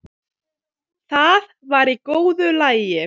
Það var í góðu lagi.